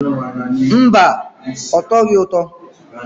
Mba, ọ tọghị ụtọ.